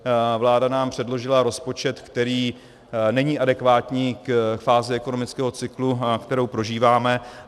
Vláda nám předložila rozpočet, který není adekvátní k fázi ekonomického cyklu, kterou prožíváme.